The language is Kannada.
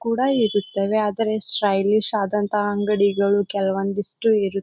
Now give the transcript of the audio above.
ಕೂಡ ಇರುತ್ತದೆ ಆದ್ರೆ ಸ್ಟೈಲಿಶ್ ಆದಂತಹ ಅಂಗಡಿಗಳು ಕೆಲವೊಂದು ಇಷ್ಟು ಇರುತ್ತದೆ.